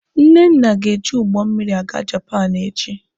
Nnenna ga-eji ụgbọ mmịrị aga Japaapụ echi.